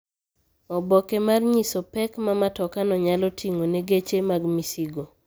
Oboke mar nyiso pek ma matoka no nyalo ting'o ne geche mag misigo